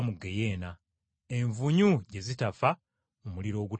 envunyu gye zitafa mu muliro ogutazikira.